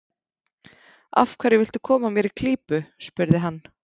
Af hverju viltu koma mér í klípu? spurði hann.